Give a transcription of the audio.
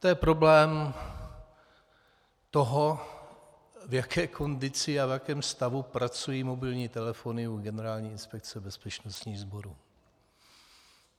To je problém toho, v jaké kondici a v jakém stavu pracují mobilní telefony u Generální inspekce bezpečnostních sborů.